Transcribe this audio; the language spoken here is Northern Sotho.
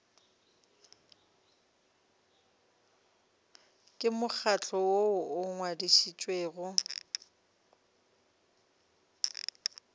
ke mokgatlo woo o ngwadišitšwego